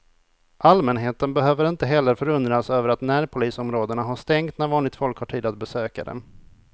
Allmänheten behöver inte heller förundras över att närpolisområdena har stängt när vanligt folk har tid att besöka dem.